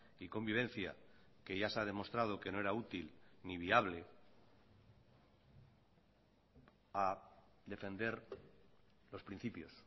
y convivencia que ya se ha demostrado que no era útil ni viable a defender los principios